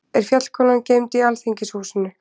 Er Fjallkonan geymd í Alþingishúsinu?